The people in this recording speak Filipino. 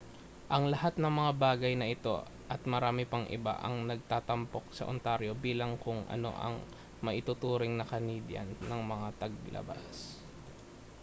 ang lahat ng mga bagay na ito at marami pang iba ang nagtatampok sa ontario bilang kung ano ang maituturing na canadian ng mga tagalabas